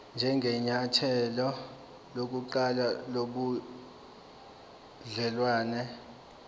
njengenyathelo lokuqala lobudelwane